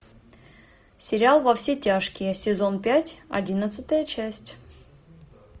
сериал во все тяжкие сезон пять одиннадцатая часть